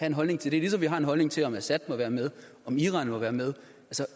en holdning til det ligesom vi har en holdning til om assad må være med og om iran må være med